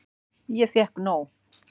Ég fékk nóg.